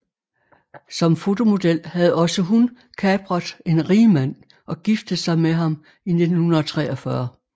Som fotomodel havde også hun kapret en rigmand og giftet sig med ham i 1943